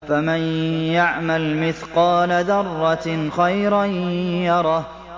فَمَن يَعْمَلْ مِثْقَالَ ذَرَّةٍ خَيْرًا يَرَهُ